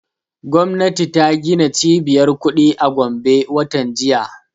Gwamnati ta gina cibiyar kuɗi a gombe watan jiya